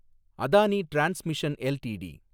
Adani Transmission LTD